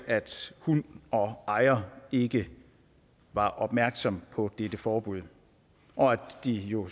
hund og ejer ikke var opmærksom på dette forbud og at de jo